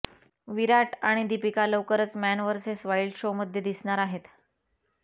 विराट आणि दीपिका लवकरच man versus wild शोमध्ये दिसणार आहेत